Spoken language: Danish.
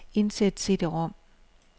Indsæt cd-rom.